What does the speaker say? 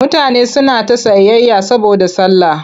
Mutane suna ta sayayya saboda sallah.